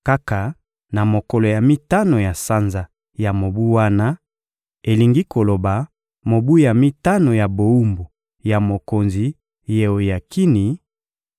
Kaka na mokolo ya mitano ya sanza ya mobu wana, elingi koloba mobu ya mitano ya bowumbu ya mokonzi Yeoyakini,